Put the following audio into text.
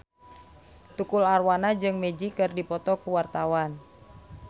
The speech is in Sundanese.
Tukul Arwana jeung Magic keur dipoto ku wartawan